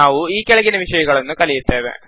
ನಾವು ಈ ಕೆಳಗಿನ ವಿಷಯಗಳನ್ನು ಕಲಿಯುತ್ತೇವೆ